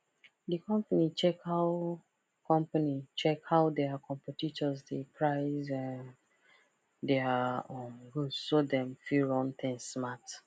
the company check how company check how their competitors dey price um their um goods so dem fit run things smart